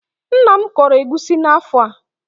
Nna m kọrọ egusi n'afọ a.